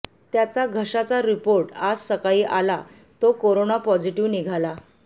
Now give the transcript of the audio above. त्याचा घशाचा रिपोर्ट आज सकाळी आला तो कोरोना पॉझिटीव्ह निघाला